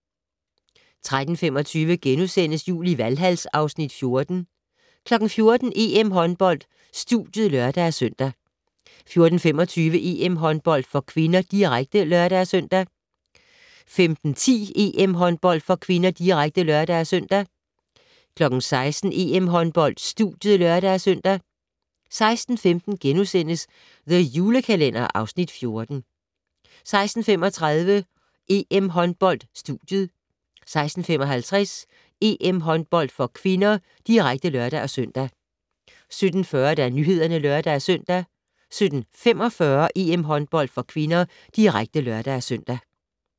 13:25: Jul i Valhal (Afs. 14)* 14:00: EM-håndbold: Studiet (lør-søn) 14:25: EM-håndbold (k), direkte (lør-søn) 15:10: EM-håndbold (k), direkte (lør-søn) 16:00: EM-håndbold: Studiet (lør-søn) 16:15: The Julekalender (Afs. 14)* 16:35: EM Håndbold: Studiet 16:55: EM-håndbold (k), direkte (lør-søn) 17:40: Nyhederne (lør-søn) 17:45: EM-håndbold (k), direkte (lør-søn)